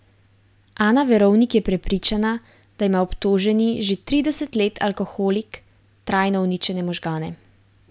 Ana Verovnik je prepričana, da ima obtoženi, že trideset let alkoholik, trajno uničene možgane.